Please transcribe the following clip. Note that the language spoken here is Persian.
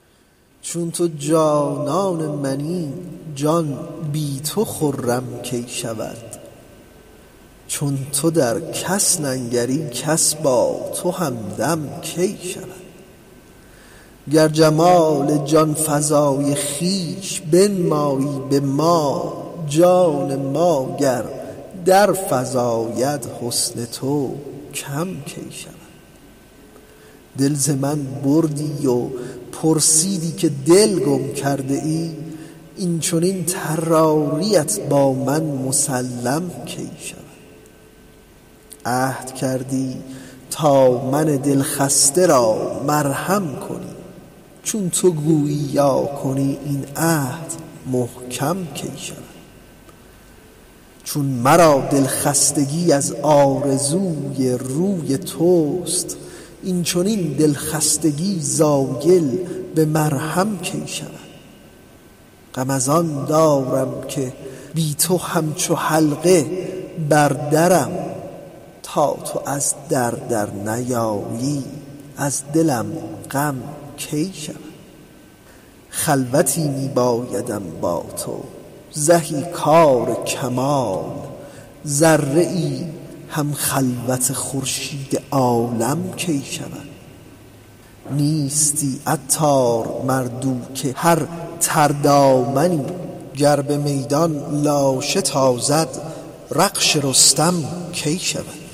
چون تو جانان منی جان بی تو خرم کی شود چون تو در کس ننگری کس با تو همدم کی شود گر جمال جانفزای خویش بنمایی به ما جان ما گر در فزاید حسن تو کم کی شود دل ز من بردی و پرسیدی که دل گم کرده ای این چنین طراریت با من مسلم کی شود عهد کردی تا من دل خسته را مرهم کنی چون تو گویی یا کنی این عهد محکم کی شود چون مرا د ل خستگی از آرزوی روی توست این چنین د ل خستگی زایل به مرهم کی شود غم از آن دارم که بی تو همچو حلقه بر درم تا تو از در در نیایی از دلم غم کی شود خلوتی می بایدم با تو زهی کار کمال ذره ای هم خلوت خورشید عالم کی شود نیستی عطار مرد او که هر تر دامنی گر به میدان لاشه تازد رخش رستم کی شود